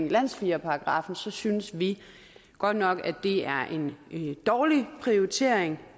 landssvigerparagraffen så synes vi godt nok det er en dårlig prioritering